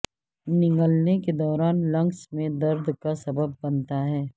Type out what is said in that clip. نگلنے کے دوران لینکس میں درد کا سبب بنتا ہے